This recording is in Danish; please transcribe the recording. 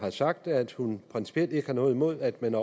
har sagt er at hun principielt ikke har noget imod at man